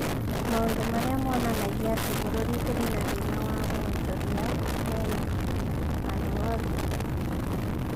Maũndũ marĩa monanagia atĩ bũrũri ũrĩ na thĩna wa wonjoria me handu hothe.